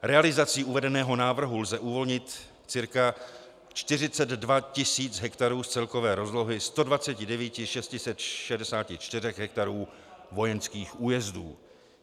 Realizací uvedeného návrhu lze uvolnit cca 42 tisíc hektarů z celkové rozlohy 129 664 hektarů vojenských újezdů.